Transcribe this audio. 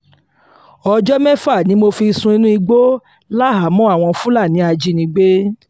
ọjọ́ mẹ́fà ni mo fi sùn inú igbó láhàámọ̀ àwọn fúlàní ajínigbé